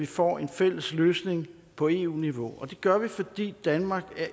får en fælles løsning på eu niveau og det gør vi fordi danmark